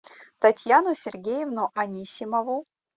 татьяну сергеевну анисимову